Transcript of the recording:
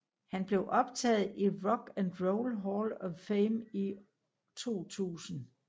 Han blev optaget i Rock and Roll Hall of Fame i 2000